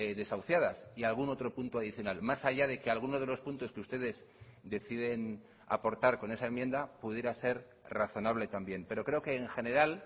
desahuciadas y algún otro punto adicional más allá de que algunos de los puntos que ustedes deciden aportar con esa enmienda pudiera ser razonable también pero creo que en general